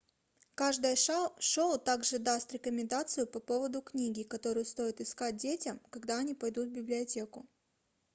каждое шоу также даст рекомендацию по поводу книги которую стоит искать детям когда они пойдут в библиотеку